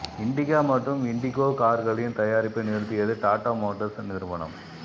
இன்டிகா மற்றும் இன்டிகோ கார்களின் தயாரிப்பை நிறுத்தியது டாடா மோட்டார்ஸ் நிறுவனம்